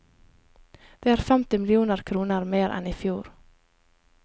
Det er femti millioner kroner mer enn i fjor.